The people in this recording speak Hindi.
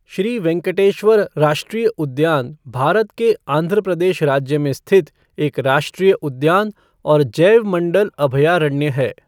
श्री वेंकटेश्वर राष्ट्रीय उद्यान भारत के आंध्र प्रदेश राज्य में स्थित एक राष्ट्रीय उद्यान और जैवमण्डल अभयारण्य है।